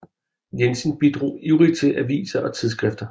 Jensen bidrog ivrigt til aviser og tidsskrifter